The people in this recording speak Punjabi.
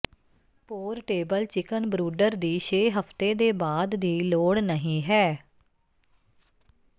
ਪੋਰਟੇਬਲ ਚਿਕਨ ਬ੍ਰੂਡਰ ਦੀ ਛੇ ਹਫ਼ਤੇ ਦੇ ਬਾਅਦ ਦੀ ਲੋੜ ਨਹੀਂ ਹੈ